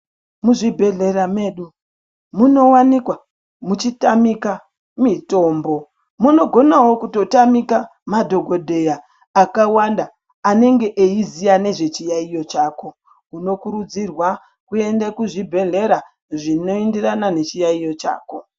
Muzvibhedhlera medu munowanika muchitamika mitombo munogonawo kutotamika madhokodheya akawanda anenge eizita nezvechiyaiyo chako unokurudzirwa kuende kuzvibhedhlera zvinoenderana nechiyaiyo chako.